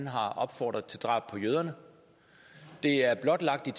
har opfordret til drab på jøder det er blotlagt i